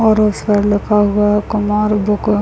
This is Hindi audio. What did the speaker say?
और उस पर लिखा हुआ है कुमार बुक --